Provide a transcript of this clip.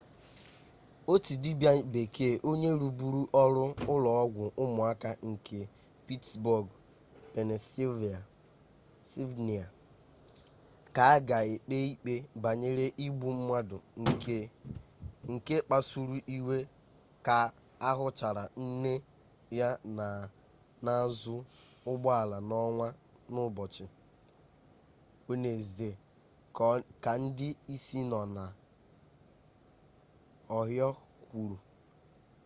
otu dibia-bekee onye rubuuru oru ulo-ogwu umuaka nke pittsburgh pennysylvania ka aga ekpe ikpe banyere igbu-mmadu nke akpasuru-iwe ka ahuchara nne ya na azu ugbo-ala na-onwu n'ubochi wednesde ka ndi isi no na ohio kwuru